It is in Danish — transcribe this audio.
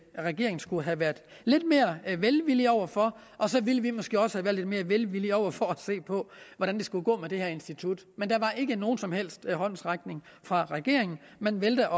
regeringen skulle have været lidt mere velvillig over for og så ville vi måske også have været lidt mere velvillige over for at se på hvordan det skulle gå med det her institut men der var ikke nogen som helst håndsrækning fra regeringen man valgte